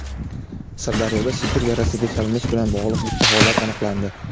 Sirdaryoda Sibir yarasiga chalinish bilan bog‘liq bitta holat aniqlandi.